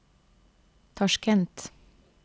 Tasjkent